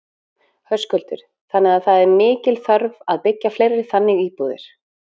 Höskuldur: Þannig að það er mikil þörf að byggja fleiri þannig íbúðir?